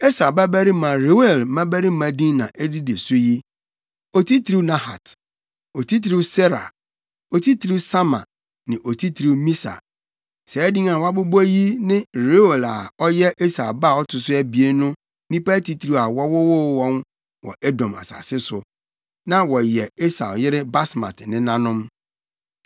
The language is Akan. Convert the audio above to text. Esau babarima Reuel mmabarima din na edidi so yi: Otitiriw Nahat, Otitiriw Serah, Otitiriw Sama ne Otitiriw Misa. Saa din a wɔabobɔ yi ne Reuel a ɔyɛ Esau ba a ɔto so abien no nnipa atitiriw a wɔwoo wɔn wɔ Edom asase so. Na wɔyɛ Esau yere Basmat nenanom.